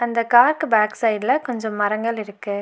அந்த கார்க்கு பேக் சைடுல கொஞ்ச மரங்கள் இருக்கு.